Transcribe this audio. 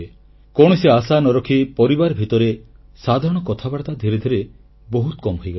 କୌଣସି ଆଶା ନ ରଖି ପରିବାର ଭିତରେ ସାଧାରଣ କଥାବାର୍ତ୍ତା ଧୀରେ ଧୀରେ ବହୁତ କମ୍ ହୋଇଗଲାଣି